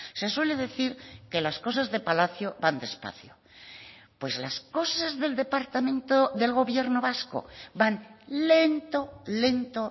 se suele decir que las cosas de palacio van despacio pues las cosas del departamento del gobierno vasco van lento lento